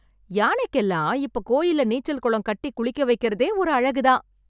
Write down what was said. யானைக்கெல்லாம் இப்ப கோயில்ல நீச்சல் குளம் கட்டி குளிக்க வைக்கிறதே ஒரு அழகு தான்.